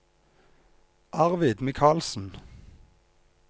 Arvid Michaelsen